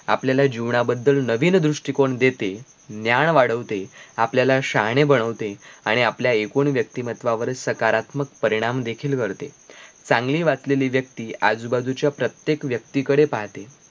आपल्याला जीवना बद्दल नवीन दृष्टीकोन देते, ज्ञान वाढवते, आपल्याला शहाणे बनवते आणि आपल्या एकूण व्यक्तीमत्त्वावर सकारात्मक परिणाम देखील करते चांगले वाचलेली व्यक्ती आजूबाजूच्या प्रत्येक व्यक्तीकडे पाहते